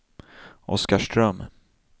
Oskarström